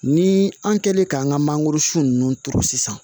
Ni an kɛlen k'an ka mangoro sun nunnu turu sisan